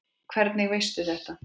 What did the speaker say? Hvernig veistu þetta?